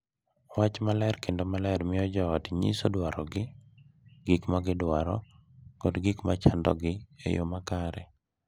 Wach maler kendo maler miyo jo ot nyiso dwarogi, gik ma gidwaro, kod gik ma chandogi e yoo makare.